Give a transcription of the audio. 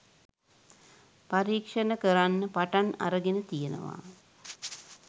පරීක්ෂණ කරන්න පටන් අරගෙන තියෙනවා.